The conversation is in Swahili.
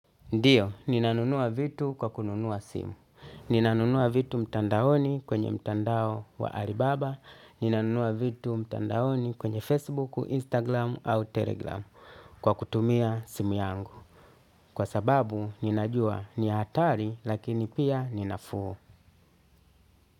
Ndiyo, ninanunua vitu kwa kununua simu. Ninanunua vitu mtandaoni kwenye mtandao wa Alibaba. Ninanunua vitu mtandaoni kwenye Facebook, Instagram au Telegram kwa kutumia simu yangu. Kwa sababu, ninajua ni hatari lakini pia ninafuu.